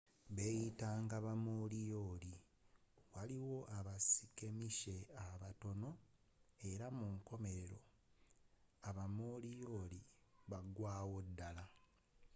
beyitanga ba moriori waliyo aba skirmishe abatonotono era munkomerero aba moriori bagwerawodala